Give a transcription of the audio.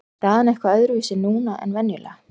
Er staðan eitthvað öðruvísi núna en venjulega?